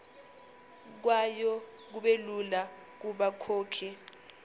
kwayo kubelula kubakhokhi